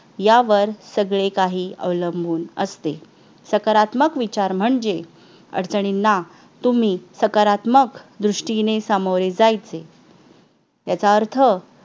यावर सगळे काही अवलंबून असते सकारात्मक विचार म्हणजे अडचणींना तुम्ही सकारात्मक दृष्टीने सामोरे जायचे याचा अर्थ